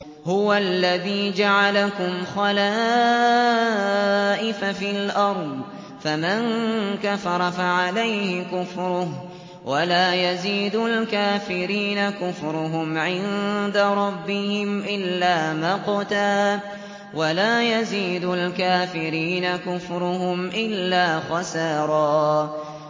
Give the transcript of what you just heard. هُوَ الَّذِي جَعَلَكُمْ خَلَائِفَ فِي الْأَرْضِ ۚ فَمَن كَفَرَ فَعَلَيْهِ كُفْرُهُ ۖ وَلَا يَزِيدُ الْكَافِرِينَ كُفْرُهُمْ عِندَ رَبِّهِمْ إِلَّا مَقْتًا ۖ وَلَا يَزِيدُ الْكَافِرِينَ كُفْرُهُمْ إِلَّا خَسَارًا